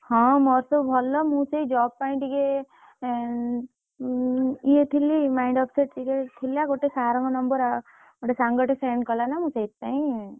ହଁ ମୋର ସବୁ ଭଲ, ମୁଁ ସେଇ job ପାଇଁ ଟିକେ ଏଁ ଉଁ ଇଏ ଥିଲି, mind upset ଟିକେ ଥିଲା ଗୋଟେ sir ଙ୍କ number ଗୋଟେ ସାଙ୍ଗଟା send କଲା ନା, ମୁଁ ସେଇଥିପାଇଁ, ମୋ ଇଏ ଟା ବି ପଠେଇଲି ନା ତୋ ଇଏ ଟା ବି ପଠେଇଦେଲି ତୋ resume ଟା ବି ପଠେଇଲି ହେଲା।